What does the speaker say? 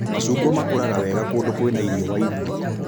Macungwa makũraga wega kũndũ kwĩna riũa ihiũ